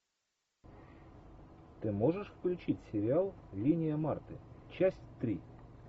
ты можешь включить сериал линия марты часть три